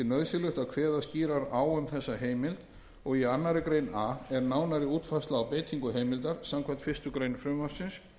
nauðsynlegt að kveða skýrar á um þessa heimild og í tvær greinar a er nánari útfærsla á beitingu heimildar samkvæmt fyrstu grein frumvarpsins